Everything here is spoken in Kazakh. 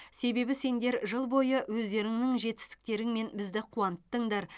себебі сендер жыл бойы өздеріңнің жетістіктеріңмен бізді қуанттыңдар